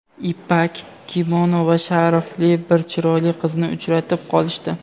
ipak kimono va sharfli bir chiroyli qizni uchratib qolishdi.